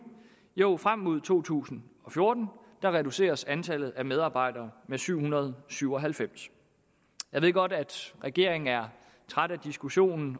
jo frem mod to tusind og fjorten reduceres antallet af medarbejdere med syv hundrede og syv og halvfems jeg ved godt at regeringen er træt af diskussionen